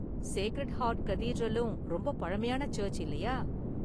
Sacred Heart கதீட்ரலும் ரொம்ப பழமையான சர்ச்சு, இல்லையா?